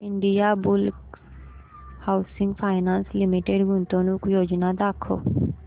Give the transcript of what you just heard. Indiabulls housing finance limited गुंतवणूक योजना दाखव